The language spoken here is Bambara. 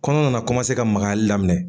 Kɔnɔ nana ka makayali daminɛ.